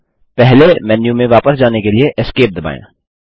अब पहले मेन्यू में वापस जाने के लिए Esc दबाएँ